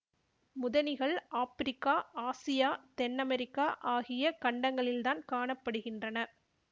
முதனிகள் Africa Asia தென் America ஆகிய கண்டங்களில்தான் காண படுகின்றன